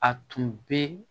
A tun bɛ